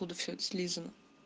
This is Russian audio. откуда всё это слизано